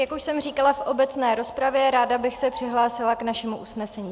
Jak už jsem říkala v obecné rozpravě, ráda bych se přihlásila k našemu usnesení.